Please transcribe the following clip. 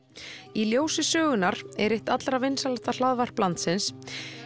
í ljósi sögunnar er eitt allra vinsælasta hlaðvarp landsins